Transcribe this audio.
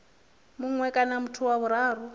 mue kana muthu wa vhuraru